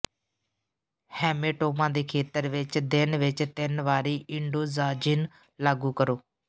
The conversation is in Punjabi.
ਹੈਮੈਟੋਮਾ ਦੇ ਖੇਤਰ ਵਿੱਚ ਦਿਨ ਵਿੱਚ ਤਿੰਨ ਵਾਰੀ ਇੰਡੋੋਜ਼ਾਜਿਨ ਲਾਗੂ ਕਰੋ